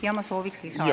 Jaa, ma sooviksin lisaaega.